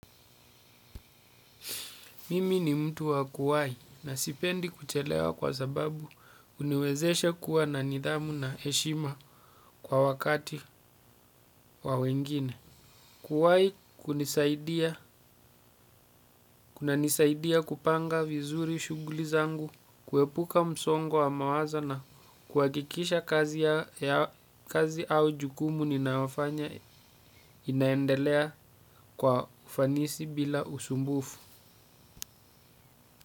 Mimi ni mtu wa kuwai na sipendi kuchelewa kwa sababu uniwezeshe kuwa na nidhamu na eshima kwa wakati wa wengine. Kuwai kuna nisaidia kupanga vizuri shuguli zangu, kuwepuka msongo wa wa mawazo na kuwakikisha kazi au jukumu ninaofanya inaendelea kwa ufanisi bila usumbufu.